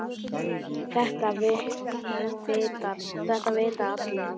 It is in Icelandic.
Þetta vita allir.